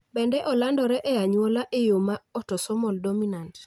Bende olandore e anyuola e yo ma autosomal dominant